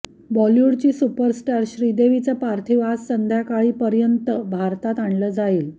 बॉलिवूडची सुपरस्टार श्रीदेवीचं पार्थिव आज संध्याकाळी पर्यंत भारतात आणलं जाईल